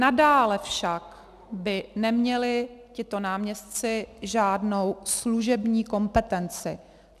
Nadále však by neměli tito náměstci žádnou služební kompetenci.